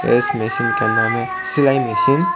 इस मशीन का नाम है सिलाई मशीन ।